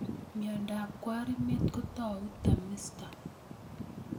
Miondab kwarimet kotau tamisto